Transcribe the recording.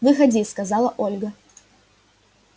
выходи сказала ольга